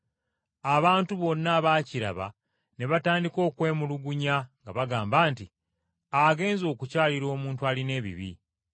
Abantu bonna abaakiraba ne batandika okwemulugunya nga bagamba nti, “Agenze okukyalira omuntu alina ebibi.”